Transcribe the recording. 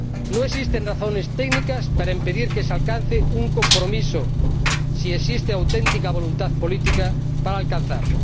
No existen razones técnicas para impedir que se alcance un compromiso si existe auténtica voluntad política para alcanzarlo.